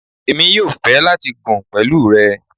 Emi yóò fẹ lati gùn pẹlu rẹ